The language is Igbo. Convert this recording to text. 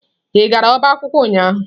Ị gara ọba akwụkwọ ụnyahụ?